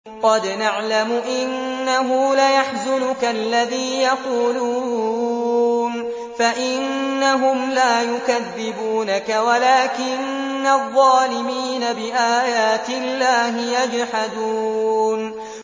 قَدْ نَعْلَمُ إِنَّهُ لَيَحْزُنُكَ الَّذِي يَقُولُونَ ۖ فَإِنَّهُمْ لَا يُكَذِّبُونَكَ وَلَٰكِنَّ الظَّالِمِينَ بِآيَاتِ اللَّهِ يَجْحَدُونَ